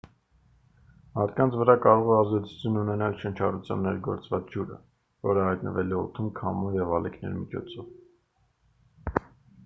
մարդկանց վրա կարող է ազդեցություն ունենալ շնչառությամբ ներգործված ջուրը որը հայտնվել է օդում քամու և ալիքների միջոցով